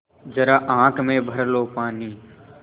ज़रा आँख में भर लो पानी